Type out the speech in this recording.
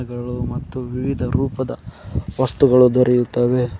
ಇದರೊಳಗು ಮತ್ತು ವಿವಿಧ ರೂಪದ ವಸ್ತುಗಳು ದೊರೆಯುತ್ತವೆ.